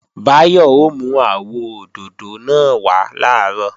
Báyọ̀ ó mú àwọ òdòdó náà wá làárọ̀